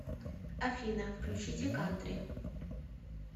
афина включите кантри